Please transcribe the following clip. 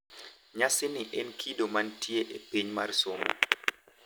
Nyasini en kido mantie e piny mar somo.